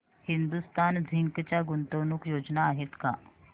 Hindustan zinc च्या गुंतवणूक योजना आहेत का